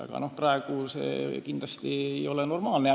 Aga praegune olukord ei ole kindlasti normaalne.